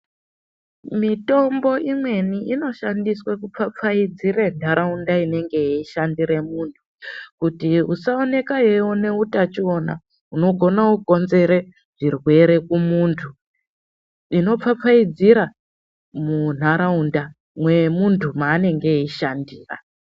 Mitombo imweni inoshandiswa kupfapfaidzira ntaraunda inenge ichishandira muntu kuti usaoneka iwana utachiwana unogona kukonzera zvirwere kumuntu inopfapfaidzira muntaraunda mwemuntu mwaanenge eishandira .